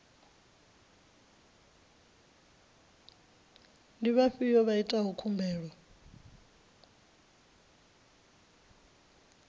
ndi vhafhio vha itaho khumbelo